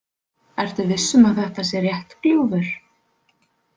Ertu viss um að þetta sé rétt gljúfur?